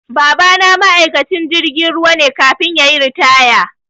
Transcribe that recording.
Babana ma'aikacin jirgin ruwa ne kafin yayi ritaya